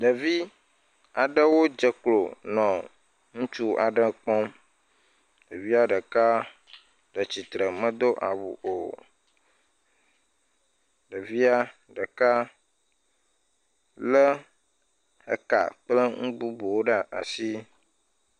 Ɖevi aɖewo dze klo nɔ ŋutsu aɖewo kpɔm ke ɖeka le titre medo awu o ɖevia ɖeka le ka kple nu bubuwo ɖe asi